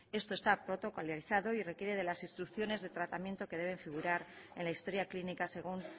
esto está protocolarizado y requiere de las instrucciones de tratamiento que debe figurar en la historia clínica según